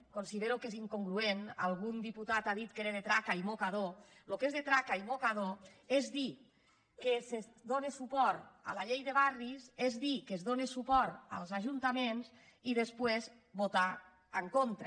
considero que és incongruent algun diputat ha dit que era de traca i mocador el que és de traca i mocador és dir que es dóna suport a la llei de barris és dir que es dóna suport als ajuntaments i després votar en contra